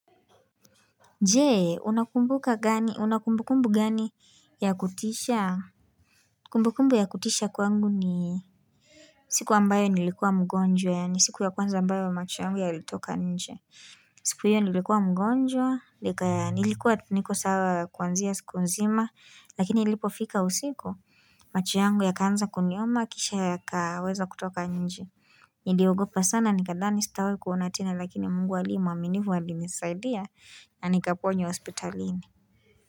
Je, unakumbuka gani, una kumbukumbu gani ya kutisha? Kumbukumbu ya kutisha kwangu ni siku ambayo nilikuwa mgonjwa, ni siku ya kwanza ambayo macho yangu yalitoka nje. Siku hiyo nilikuwa mgonjwa, nilikuwa tu niko sawa kuanzia siku nzima, lakini ilipofika usiku. Macho yangu yakaanza kuniuma, kisha yakaweza kutoka nje. Niliogopa sana nikadhani sitawahi kuona tena lakini mungu aliye mwaminifu alinisaidia na nikaponywa hospitalini.